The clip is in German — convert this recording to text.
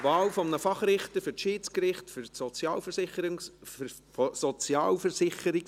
Ich bitte den Generalsekretär, die Eidesformel in deutscher Sprache vorzulesen.